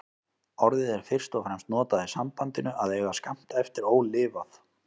Orðið er fyrst og fremst notað í sambandinu að eiga skammt eftir ólifað.